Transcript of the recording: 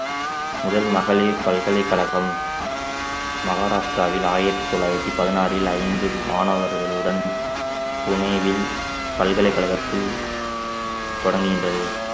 முதல் மகளிர் பல்கலைக்கழகம் மகாராஷ்டிராவில் ஆயிரத்து தொள்ளாயிரத்து பதினாறில் ஐந்து மாணவர்களுடன் புனேவில் பல்கலைக்கழகத்தில் தொடங்குகின்றது